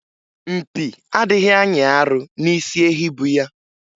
Mpi adịghị anyị arụ n'isi ehi bu ya.